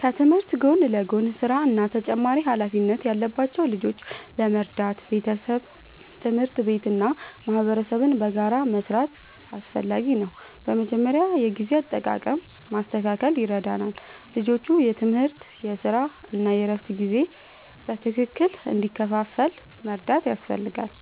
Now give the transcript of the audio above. ከትምህርት ጎን ለጎን ሥራ እና ተጨማሪ ኃላፊነት ያለባቸው ልጆችን ለመርዳት ቤተሰብ፣ ትምህርት ቤት እና ማህበረሰብ በጋራ መስራት አስፈላጊ ነው። በመጀመሪያ የጊዜ አጠቃቀም ማስተካከል ይረዳል፤ ልጆቹ የትምህርት፣ የሥራ እና የእረፍት ጊዜ በትክክል እንዲከፋፈል መርዳት ያስፈልጋል።